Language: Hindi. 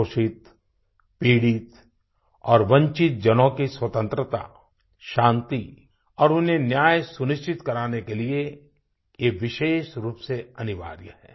शोषित पीड़ित और वंचित जनों की स्वतन्त्रता शांति और उन्हें न्याय सुनिश्चित कराने के लिए ये विशेष रूप से अनिवार्य है